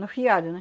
No fiado, né?